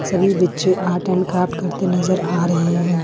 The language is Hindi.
सभी बच्चे आर्ट एंड क्राफ्ट करते नजर आ रहे हैं।